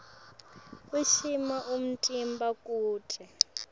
ushukumisa umtimba kute